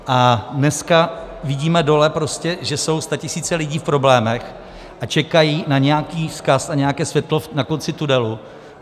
A dneska vidíme dole prostě, že jsou statisíce lidí v problémech a čekají na nějaký vzkaz, na nějaké světlo na konci tunelu.